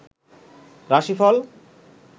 রাশিফল